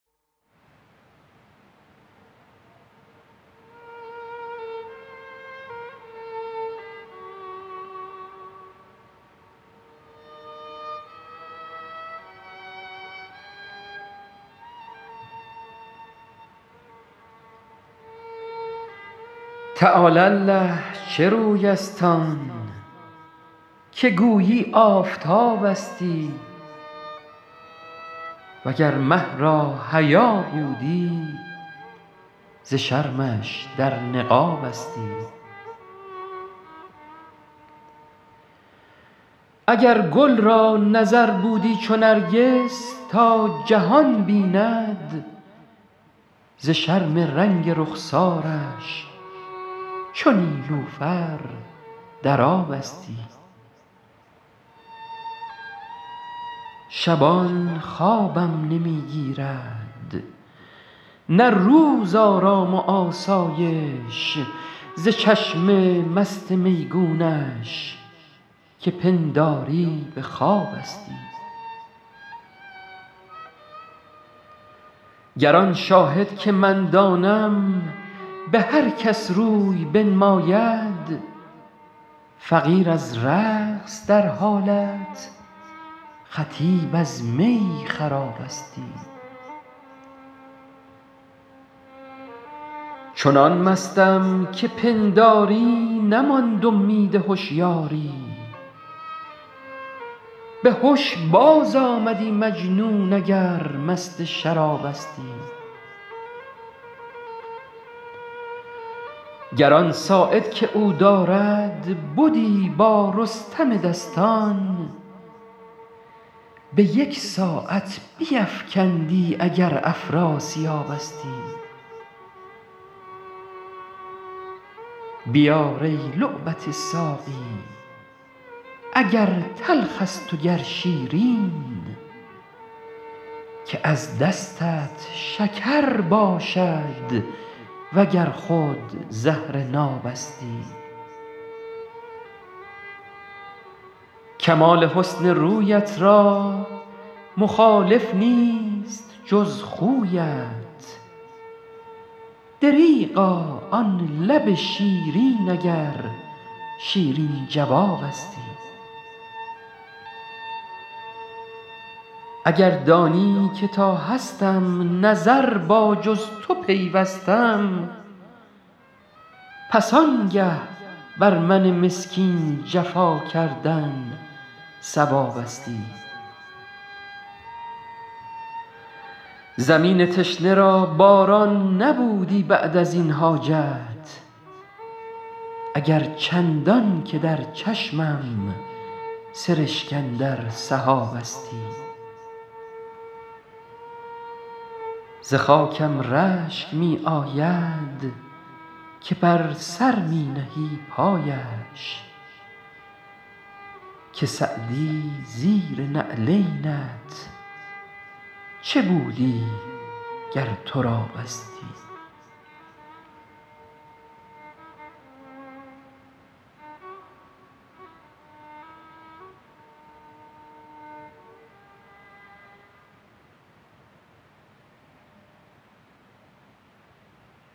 تعالی الله چه روی است آن که گویی آفتابستی و گر مه را حیا بودی ز شرمش در نقابستی اگر گل را نظر بودی چو نرگس تا جهان بیند ز شرم رنگ رخسارش چو نیلوفر در آبستی شبان خوابم نمی گیرد نه روز آرام و آسایش ز چشم مست میگونش که پنداری به خوابستی گر آن شاهد که من دانم به هر کس روی بنماید فقیر از رقص در حالت خطیب از می خرابستی چنان مستم که پنداری نماند امید هشیاری به هش بازآمدی مجنون اگر مست شرابستی گر آن ساعد که او دارد بدی با رستم دستان به یک ساعت بیفکندی اگر افراسیابستی بیار ای لعبت ساقی اگر تلخ است و گر شیرین که از دستت شکر باشد و گر خود زهر نابستی کمال حسن رویت را مخالف نیست جز خویت دریغا آن لب شیرین اگر شیرین جوابستی اگر دانی که تا هستم نظر با جز تو پیوستم پس آنگه بر من مسکین جفا کردن صوابستی زمین تشنه را باران نبودی بعد از این حاجت اگر چندان که در چشمم سرشک اندر سحابستی ز خاکم رشک می آید که بر سر می نهی پایش که سعدی زیر نعلینت چه بودی گر ترابستی